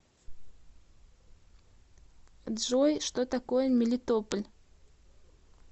джой что такое мелитополь